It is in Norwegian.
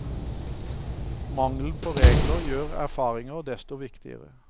Mangelen på regler gjør erfaringer desto viktigere.